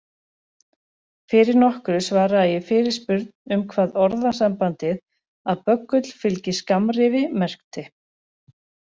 Fyrir nokkru svaraði ég fyrirspurn um hvað orðasambandið að böggull fylgi skammrifi merkti.